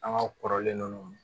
An ka kɔrɔlen ninnu